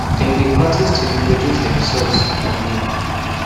dem dey practice to introduce themselves for mirror